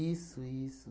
isso.